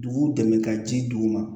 Dugu dɛmɛ ka ci d'u ma